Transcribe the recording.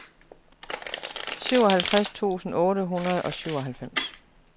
syvoghalvtreds tusind otte hundrede og syvoghalvfems